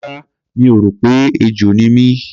Rárá, mi ò rò pé ejò ni mí.